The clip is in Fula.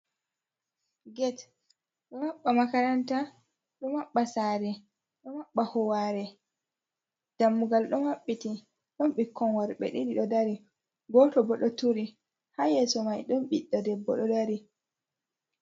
Get ɗo maɓɓa makaranta, ɗo maɓɓa sare, ɗo maɓɓa howare, dammugal ɗo maɓɓiti ɗon ɓikkon worɓe ɗiɗi ɗo dari, goto bo ɗo turi, ha yeso mai ɗon ɓiɗɗo debbo ɗo dari.